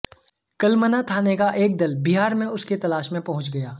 कलमना थाने का एक दल बिहार में उसकी तलाश में पहुंच गया